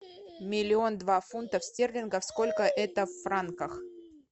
миллион два фунтов стерлингов сколько это в франках